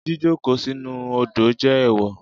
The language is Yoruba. Jíjókòó sínú u odò jẹ́ ẹ̀ẹ̀wọ̀